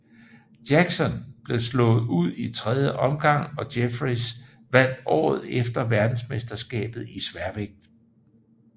Jackson blev slået ud i tredje omgang og Jeffries vandt året efter verdensmesterskabet i sværvægt